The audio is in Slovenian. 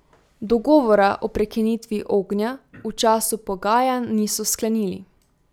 Dogovora o prekinitvi ognja v času pogajanj niso sklenili.